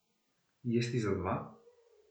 Jesti za dva?